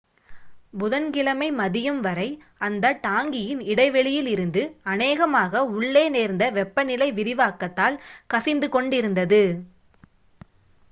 புதன் கிழமை மதியம் வரை அந்த டாங்கியின் இடைவெளியிலிருந்து அநேகமாக உள்ளே நேர்ந்த வெப்ப நிலை விரிவாக்கத்தால் கசிந்து கொண்டிருந்தது